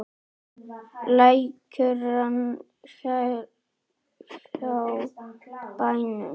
Lækur rann hjá bænum.